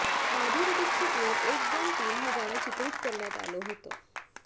माधुरी दीक्षितवर एक दोन तीन हे गाणं चित्रित करण्यात आलं होतं